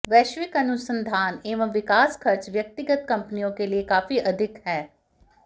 वैश्विक अनुसंधान एवं विकास खर्च व्यक्तिगत कंपनियों के लिए काफी अधिक है